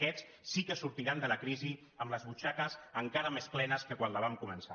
aquests sí que sortiran de la crisi amb les butxaques encara més plenes que quan la van començar